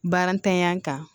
Baara ntanya kan